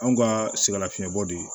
Anw ka sɛgɛn lafiɲɛbɔ de